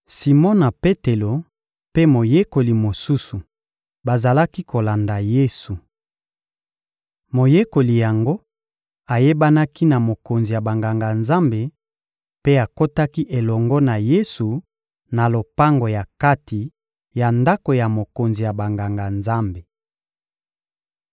Simona Petelo mpe moyekoli mosusu bazalaki kolanda Yesu. Moyekoli yango ayebanaki na mokonzi ya Banganga-Nzambe, mpe akotaki elongo na Yesu na lopango ya kati ya ndako ya mokonzi ya Banganga-Nzambe.